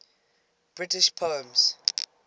british poems